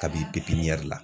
Kabi